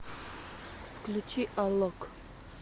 включи алок